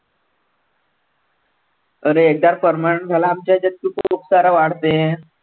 अरे एकदार permanent झाला आमच्या ह्याच्यात की तू वाढते.